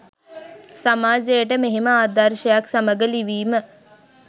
සමාජයට මෙහෙම ආදර්ශයක් සමග ලිවීම